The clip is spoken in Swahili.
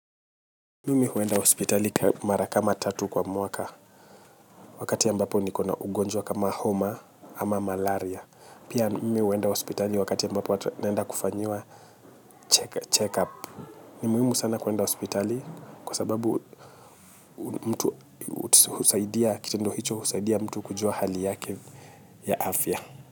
Mimi huenda hospitali mara kama tatu kwa mwaka wakati ambapo nikona ugonjwa kama homa ama malaria. Pia mimi huenda hospitali wakati ambapo naenda kufanyiwa check up. Ni muhimu sana kwenda hospitali kwa sababu mtu husaidia kitendo hicho husaidia mtu kujua hali yake ya afya.